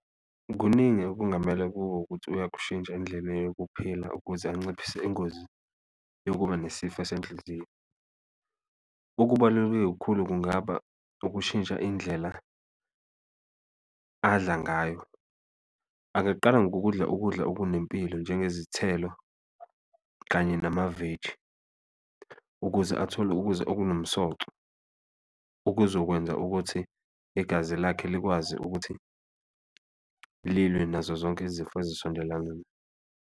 Kuningi okungamele kube ukuthi uyakushintsha indlebe yokuphila ukuze anciphise ingozi yokuba nesifo esenhliziyo, kakhulu kungaba ukushintsha indlela adla ngayo. Angaqala ngokudla ukudla okunempilo njengezithelo kanye namaveji ukuze athole ukuza okunomsoco, okuzokwenza ukuthi igazi lakhe likwazi ukuthi lilwe nazo zonke izifo ezisondelane.